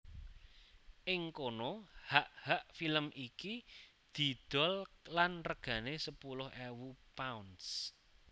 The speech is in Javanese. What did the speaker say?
Ing kono hak hak film iki didol lan regané sepuluh ewu pounds